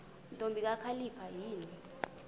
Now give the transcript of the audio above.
ntombi kakhalipha yini